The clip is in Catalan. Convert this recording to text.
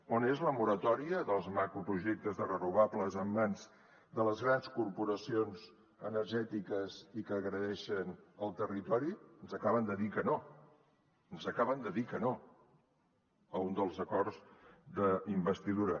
on és la moratòria dels macroprojectes de renovables en mans de les grans corporacions energètiques i que agredeixen el territori ens acaben de dir que no ens acaben de dir que no a un dels acords d’investidura